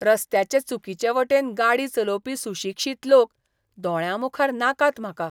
रस्त्याचे चुकीचे वटेन गाडी चलोवपी सुशिक्षीत लोक दोळ्यांमुखार नाकात म्हाका.